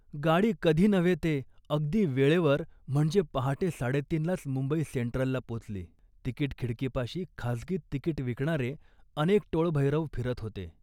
गाडी कधी नव्हे ते अगदी वेळेवर म्हणजे पहाटे साडेतीनलाच मुंबई सेंट्रलला पोचली. तिकीट खिडकीपाशी खासगीत तिकीट विकणारे अनेक टोळभैरव फिरत होते